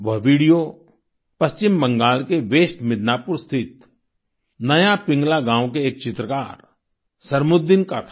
वह वीडियो पश्चिम बंगाल के वेस्ट मिदनापुर स्थित नया पिंगला गाँव के एक चित्रकार सरमुद्दीन का था